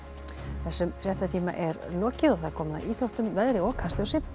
þessum fréttatíma er lokið og komið að íþróttum veðri og Kastljósi